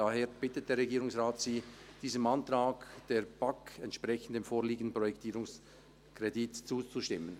Daher bittet der Regierungsrat Sie, diesem Antrag der BaK entsprechend, dem vorliegenden Projektierungskredit zuzustimmen.